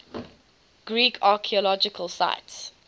greek archaeological sites